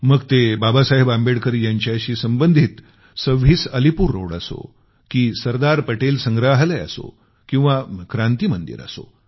मग ते बाबासाहेब आंबेडकर यांच्याशी संबंधित 26 अलीपूर रोड असो की सरदार पटेल संग्रहालय असो किंवा क्रांती मंदिर असो